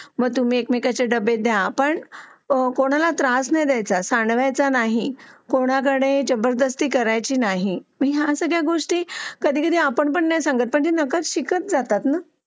मग तुम्ही एक मेकांचे डबे द्या पण कोणाला त्रास नाही द्यायचा कोणाकडे जबरदस्ती करायची नाही या सगळ्या गोष्टी कधी कधी आपण नाही सांगत ते आपोआप शिकत जातात ना